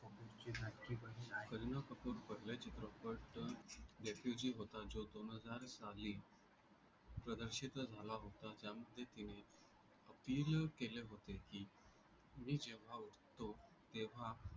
करीना कपूर पहिले चित्रपट लेखीवजीव होता जो दोन हजार साली प्रदर्शित झाला होता. त्या मध्ये तिने अभिनय केले होते की मी जेव्हा उठतो तेव्हा